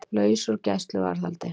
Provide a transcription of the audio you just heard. Laus úr gæsluvarðhaldi